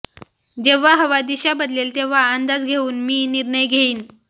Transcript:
जेव्हा हवा दिशा बदलेल तेव्हा अंदाज घेऊन मी निर्णय घेईन